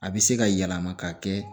A bɛ se ka yɛlɛma ka kɛ